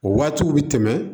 O waatiw be tɛmɛ